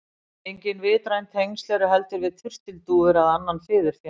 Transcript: Engin vitræn tengsl eru heldur við turtildúfur eða annan fiðurfénað.